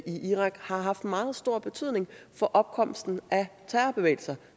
i irak har haft meget stor betydning for opkomsten af terrorbevægelser